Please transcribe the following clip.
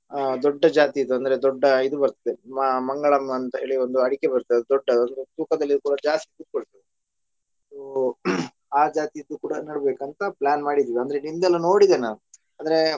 ಆ ದೊಡ್ಡ ಜಾತಿದು ಅಂದ್ರೆ ದೊಡ್ಡ ಇದು ಬರ್ತದೆ ಮ~ ಮಂಗಳಂ ಅಂತ ಹೇಳಿ ಒಂದು ಅಡಿಕೆ ಬರ್ತದೆ ಅದು ದೊಡ್ಡದು ಅದು ತೂಕದಲ್ಲಿ ಕೂಡ ಜಾಸ್ತಿ ಕುತ್ಕೊಳ್ತದೆ so ಆ ಜಾತಿದು ಕೂಡ ನಡ್ಬೇಕಂತ plan ಮಾಡಿದ್ವಿ ಅಂದ್ರೆ ನಿಮ್ದೆಲ್ಲ ನೋಡಿದೆ ನಾನ್ ಅಂದ್ರೆ.